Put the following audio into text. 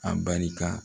A barika